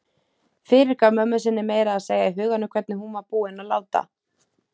Fyrirgaf mömmu sinni meira að segja í huganum hvernig hún var búin að láta.